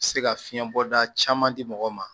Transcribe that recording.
Se ka fiɲɛ bɔda caman di mɔgɔ ma